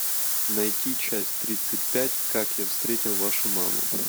найти часть тридцать пять как я встретил вашу маму